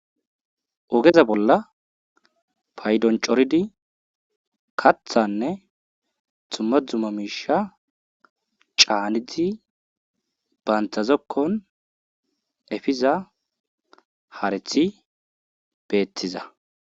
Ogeza bolla paydon coridi kathanne dumma dumma miishsha caanidi bantta zokkon efiza hareti beethiza